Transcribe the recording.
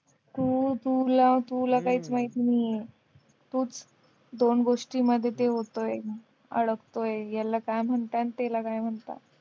तू तू तुलाच काय माहिती नाहीये तूच दोन गोष्टींमध्ये ते होतंय अडकतोय याला काय म्हणतात त्याला काय म्हणता